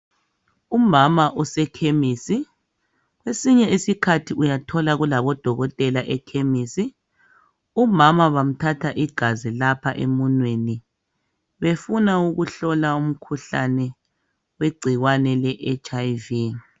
Umama osekhemisi .Kwesinye isikhathi uyathola kulabo dokotela ekhemisi .Umama bamthatha igazi lapha emunweni befuna ukuhlola umkhuhlane we gcikwane le HIV.